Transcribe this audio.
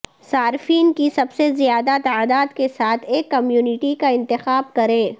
صارفین کی سب سے زیادہ تعداد کے ساتھ ایک کمیونٹی کا انتخاب کریں